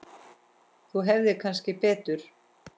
Þú hefðir kannski betur.